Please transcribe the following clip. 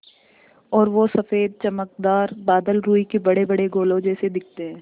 और वो सफ़ेद चमकदार बादल रूई के बड़ेबड़े गोलों जैसे दिखते हैं